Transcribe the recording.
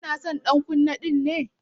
Kina son ɗan kunne ɗinnan?